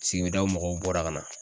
Sigidaw mɔgɔw bɔra ka na